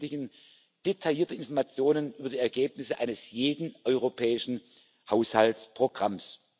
Wir veröffentlichen detaillierte Informationen über die Ergebnisse eines jeden europäischen Haushaltsprogramms.